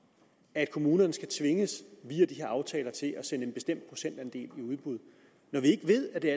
at kommunerne skal tvinges via de her aftaler til at sende en bestemt procentandel i udbud når vi ved at det